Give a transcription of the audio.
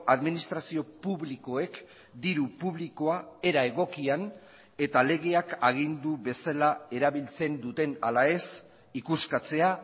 administrazio publikoek diru publikoa era egokian eta legeak agindu bezala erabiltzen duten ala ez ikuskatzea